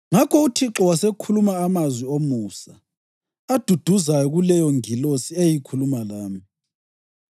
Ngakho uThixo wasekhuluma amazwi omusa, aduduzayo kuleyongilosi eyayikhuluma lami.